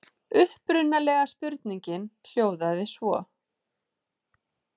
Upprunalega spurningin hljóðaði svo: